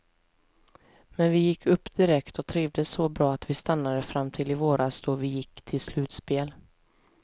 Men vi gick upp direkt och trivdes så bra att vi stannade fram till i våras då vi gick till slutspel.